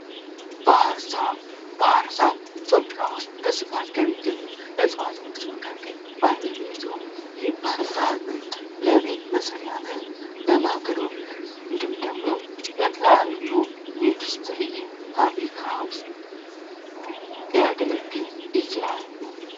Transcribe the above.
ባህር ዛፍ፦ ባህር ዛፍ በኢትዮጵያ ውስጥ በብዛት ከሚገኙ እዋቶች መካከል ዋነኛው ነው ይህ ባህር ዛፍ ለቤት መስሪያነት፥ ለማገዶነት እንዲሁም ደግሞ ለተለያዩ ኢንዱስትሪ እና ፋብሪካ ውስጥ ሊያገለግል ይችላል።